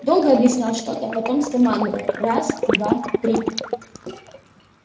долго объяснял что-то потом скомандовал раз два три